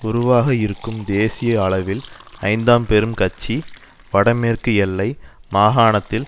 உருவாக இருக்கும் தேசிய அவையில் ஐந்தாம் பெரும் கட்சி வடமேற்கு எல்லை மாகாணத்தில்